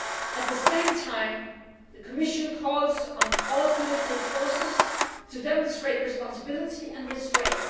At the same time, the Commission calls on all political forces to demonstrate responsibility and restraint.